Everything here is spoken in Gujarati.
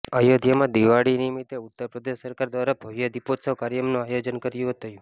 અયોધ્યામાં દિવાળી નિમિત્તે ઉત્તર પ્રદેશ સરકાર દ્વારા ભવ્ય દિપોત્સવ કાર્યક્રમનું આયોજન કરાયું હતું